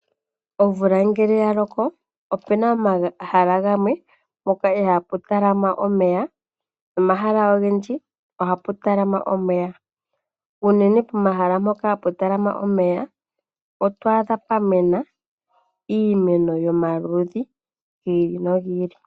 Omvula ngele ya loko opu na pomahala gamwe ihaapu talama omeya naangoka ha ga talama omeya ogendji. Unene pomahala ngoka hapu talama omeya oto adha pwa mena iimeno yomaludhi gi ili nogi ili.